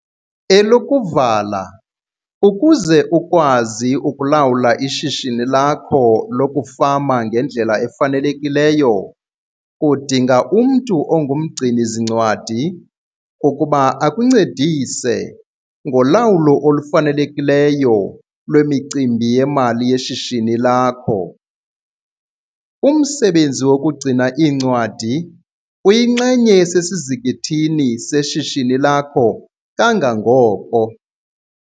Elokuvala, ukuze ukwazi ukulawula ishishini lakho lokufama ngendlela efanelekileyo udinga umntu ongumgcini-zincwadi ukuba akuncedise ngolawulo olufanelekileyo lwemicimbi yemali yeshishini lakho. Umsebenzi wokugcina iincwadi uyinxenye esesizikithini seshishini lakho kangangoko.